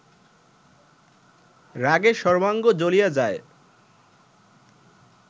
রাগে সর্বাঙ্গ জ্বলিয়া যায়